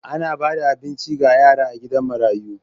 Ana ba da abinci ga yara a gidan marayu.